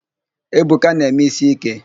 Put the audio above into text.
Ebuka na-eme ísí íké.